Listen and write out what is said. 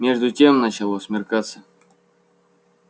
между тем начало смеркаться